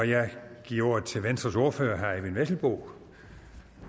jeg giver ordet til venstres ordfører herre eyvind vesselbo